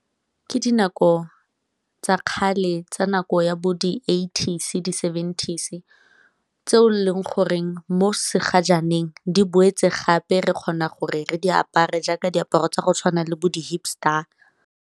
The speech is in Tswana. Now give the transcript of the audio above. Ke dinako tsa kgale tsa nako ya bo di-eighties, di-seventies tse e leng goreng mo se gajaaneng di boetse gape re kgona gore re di apare jaaka diaparo tsa go tshwana le bo di-hip star.